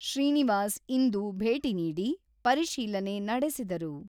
ಶ್ರೀನಿವಾಸ್ ಇಂದು ಭೇಟಿ ನೀಡಿ, ಪರಿಶೀಲನೆ ನಡೆಸಿದರು.